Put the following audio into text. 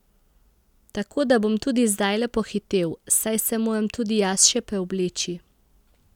Tako da bom tudi zdajle pohitel, saj se moram tudi jaz še preobleči.